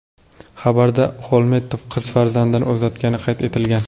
Xabarda Xolmedov qiz farzandini uzatgani qayd etilgan.